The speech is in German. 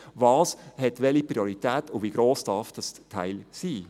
Was hat welche Priorität und wie gross darf dieses Teil sein?